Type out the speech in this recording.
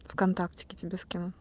вконтактеке тебе скину